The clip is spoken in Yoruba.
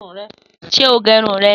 Sé o gérun rẹ?